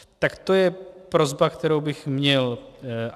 Tak to je prosba, kterou bych měl.